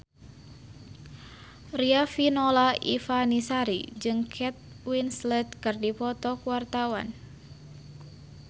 Riafinola Ifani Sari jeung Kate Winslet keur dipoto ku wartawan